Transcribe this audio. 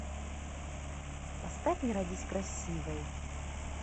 поставь не родись красивой